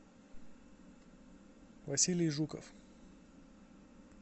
василий жуков